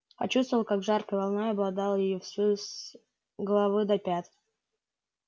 почувствовал как жаркой волной обладало её всю с головы до пят